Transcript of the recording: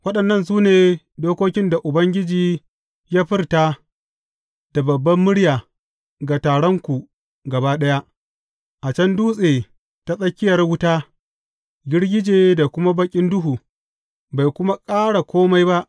Waɗannan su ne dokokin da Ubangiji ya furta da babbar murya ga taronku gaba ɗaya, a can dutse ta tsakiyar wuta, girgije da kuma baƙin duhu; bai kuma ƙara kome ba.